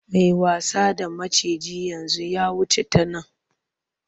Mai wasa da maciji yanzu ya wuce ta nan.